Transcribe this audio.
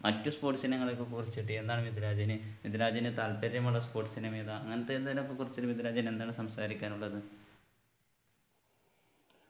മറ്റു sports ഇനങ്ങളെയൊക്കെകുറിച്ചിട്ട് എന്താണ് മിദിലാജിന് മിദിലാജിന് താല്പര്യമുള്ള sports ഇനം ഏതാ അങ്ങനത്തെ എന്തെലും ഒക്കെ കുറിച്ച് മിദിലാജിന് എന്താണ് സംസാരിക്കാനുള്ളത്